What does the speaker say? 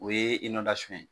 O ye inɔndasɔn ye